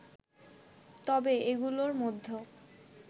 তবে এগুলোর মধ্যে